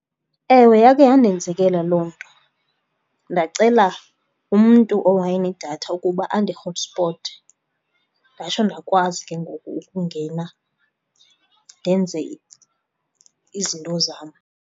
Ewe, yakhe yandenzekela loo nto, ndacela umntu owayenedatha ukuba andihotspote, ndatsho ndakwazi ke ngoku ukungena ndenze izinto zam.